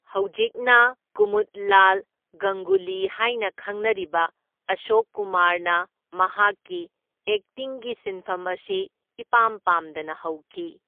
ꯍꯧꯖꯤꯛꯅ ꯀꯨꯃꯨꯗꯂꯥꯜ ꯒꯪꯒꯨꯂꯤ ꯍꯥꯢꯅ ꯈꯪꯅꯔꯤꯕ ꯑꯁꯣꯛ ꯀꯨꯃꯥꯔꯅ ꯃꯍꯥꯛꯀꯤ ꯑꯦꯛꯇꯤꯡꯒꯤ ꯁꯤꯟꯐꯝ ꯑꯁꯤ ꯏꯄꯥꯝ ꯄꯥꯝꯗꯅ ꯍꯧꯈꯤ꯫